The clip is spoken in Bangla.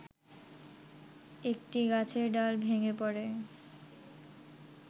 একটি গাছের ডাল ভেঙ্গে পড়ে